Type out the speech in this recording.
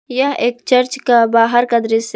यह एक चर्च का बाहर का दृश्य--